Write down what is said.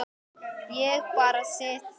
Ég bara sit þar.